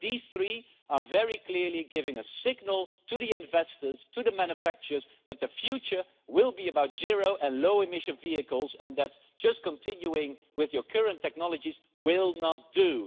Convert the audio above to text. but these three things give a very clear signal to investors, and to manufacturers, that the future will be about zero and low emission vehicles and that just continuing with your current technologies will not do.